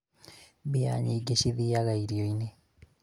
mbia nyĩngĩ cithiaga irio-inĩ